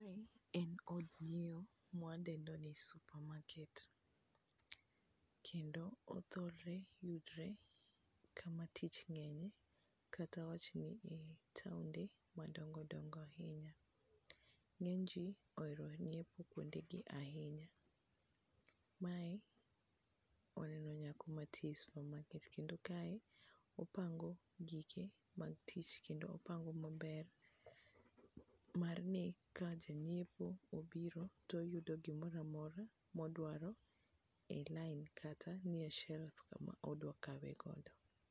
Mae en od ng'iewo mawa dendo ni supermarket kendo othoro yudore kama tich ng'enye kata awachni taonde madongo dongo ahinya ,ng'eny ji ohero nyiepo kuonde gi ahinya mae waneno nyako mantie supermarket kendo kae opango gike mag tich kendo opango maber mar ni ka ja nyiepo obiro to oyudo gimoro amora modwaro e line kata nie shelf kaka odwa kawe godo.